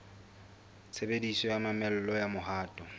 tshebediso ya mamello ya mohato